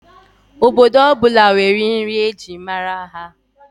Obodo ọ bụla nwere nri e ji mara ha